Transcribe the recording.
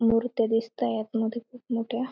मुर्त्या दिसताहेत आत मध्ये खूप मोठ्या.